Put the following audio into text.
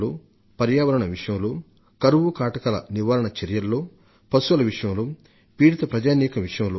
బాధిత మానవుల పట్ల శ్రద్ధ తీసుకోవడంలో కొన్ని రాష్ట్రాలు ప్రశంసనీయమైన ప్రయత్నాలు చేసినట్లు తెలుసుకొని కేంద్ర ప్రభుత్వ అధికారులకే ఆశ్చర్యమేసింది